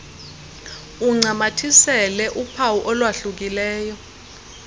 uncamathisele uphawu olwahlukileyo